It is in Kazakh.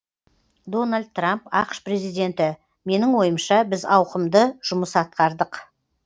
дональд трамп ақш президенті менің ойымша біз ауқымды жұмыс атқардық